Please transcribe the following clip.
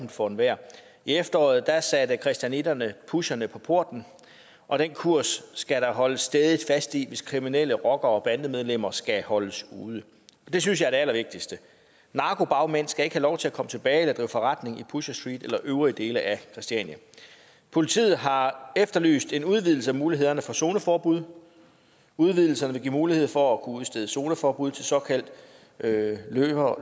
for enhver i efteråret satte christianitterne pusherne på porten og den kurs skal der holdes stædigt fast i hvis kriminelle rockere og bandemedlemmer skal holdes ude og det synes jeg er det allervigtigste narkobagmænd skal ikke have lov til at komme tilbage og drive forretning i pusher street eller de øvrige dele af christiania politiet har efterlyst en udvidelse af mulighederne for zoneforbud udvidelsen vil give mulighed for at udstedes zoneforbud til såkaldte løbere